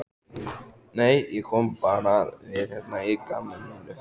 Nei, ég kom bara við hérna að gamni mínu.